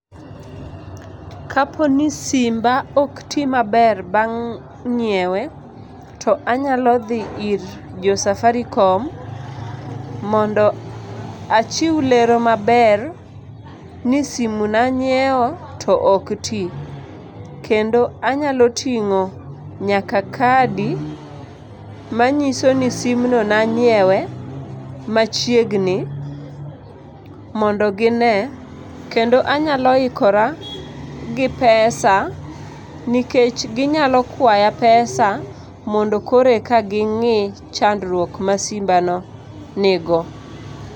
Kapo ni simba ok ti maber bang' ny'iewe, to anyalo dhi ir jo Safaricom mondo achiw lero maber ni simu nanyieo to ok ti. Kendo anyalo ting'o nyaka kadi manyiso ni simno nanyiewe machiegni mondo gine. Kendo anyalo ikora gi pesa nikech ginyako kwaya pesa mondo koro eka ging'i chandruok ma simbano nigo.